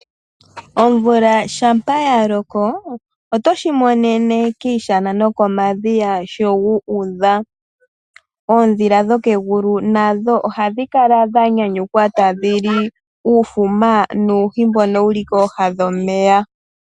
Omvula shampa ya loko otoshimonene kiishana nokomadhiya sho gu udha. Oondhila dho kegulu nasho ohadhi kala dha nyanyukwa tadhili uufuma noohi ndhono dhili kooha dhomeya